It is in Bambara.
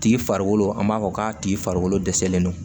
Tigi farikolo an b'a fɔ k'a tigi farikolo dɛsɛlen do